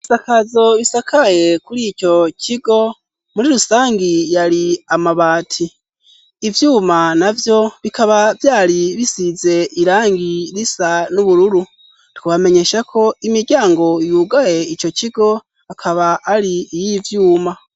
Ibisakazo bisakaye kuri ico kigo muri rusangi yari amabati ivyuma navyo bikaba vyari bisize irangi risa n'ubururu twabamenyesha ko imiryango yugaye ico kigo akaba ari iy'ivyuma.